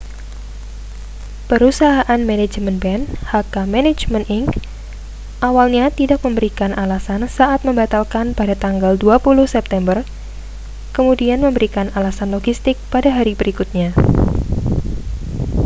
perusahaan manajemen band hk management inc awalnya tidak memberikan alasan saat membatalkan pada tanggal 20 september kemudian memberikan alasan logistik pada hari berikutnya